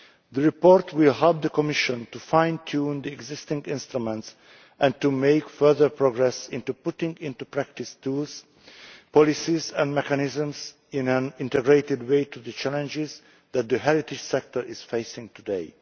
The report will help the Commission to fine tune the existing instruments and to make further progress on putting into practice tools, policies and mechanisms in an integrated way to address the challenges the heritage sector is facing today.